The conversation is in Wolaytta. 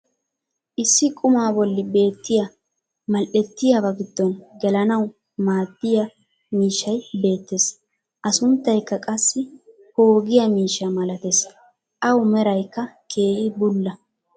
issi qumaa bolli beettiya mal''ettiyabaa giddon gelanawu maaddiya miishshay beettees. A sunttaykka qassi poogiya miishsha malatees. Awu meraykka keehi bulla.